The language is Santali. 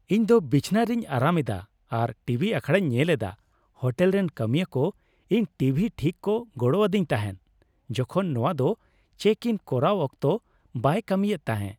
ᱤᱧᱫᱚ ᱵᱤᱪᱷᱱᱟᱹ ᱨᱤᱧ ᱟᱨᱟᱢ ᱮᱫᱟ ᱟᱨ ᱴᱤᱵᱷᱤ ᱟᱠᱷᱲᱟᱧ ᱧᱮᱞ ᱮᱫᱟ ᱾ᱦᱳᱴᱮᱞ ᱨᱮᱱ ᱠᱟᱹᱢᱤᱭᱟᱹ ᱠᱚ ᱤᱧ ᱴᱤᱵᱷᱤ ᱴᱷᱤᱠ ᱠᱚ ᱜᱚᱲᱚᱣᱟᱫᱤᱧ ᱛᱟᱦᱮᱸ ᱡᱚᱠᱷᱚᱱ ᱱᱚᱶᱟ ᱫᱚ ᱪᱮᱠ ᱤᱱ ᱠᱚᱨᱟᱣ ᱚᱠᱛᱚ ᱵᱟᱭ ᱠᱟᱹᱢᱤᱭᱮᱫ ᱛᱟᱦᱮᱸ ᱾